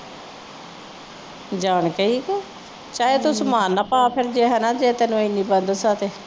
ਜਾਨ ਕੇ ਇਹ ਕਿ ਚਾਹੇ ਤੂੰ ਸਾਮਾਨ ਨਾ ਪਾ ਫਿਰ ਜਾਂ ਹੈ ਨਾ ਜੇ ਤੈਨੂੰ ਇਨੀ ਬੰਦਸ ਹੈ ਤੇ